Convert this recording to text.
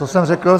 Co jsem řekl?